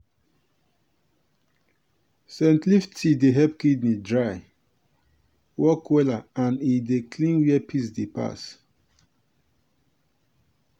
scent leaf tea dey help kidney dry work wella and e dey clean where piss dey pass.